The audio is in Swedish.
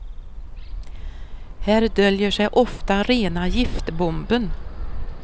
Här döljer sig ofta rena giftbomben.